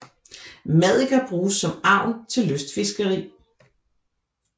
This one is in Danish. Maddiker bruges som agn til lystfiskeri